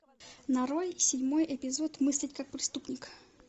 нарой седьмой эпизод мыслить как преступник